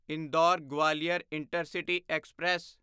Indore Gwalior intercity express